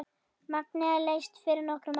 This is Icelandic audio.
Magnea lést fyrir nokkrum árum.